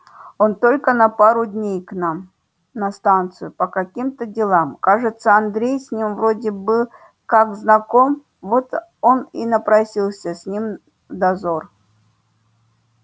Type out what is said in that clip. он только на пару дней к нам на станцию по каким-то делам кажется андрей с ним вроде бы как знаком вот он и напросился с ним в дозор